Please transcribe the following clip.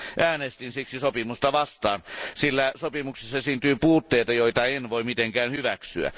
Äänestin sopimusta vastaan, sillä sopimuksessa esiintyy puutteita, joita en voi mitenkään hyväksyä.